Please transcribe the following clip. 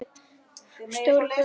Stóri bróðir minn.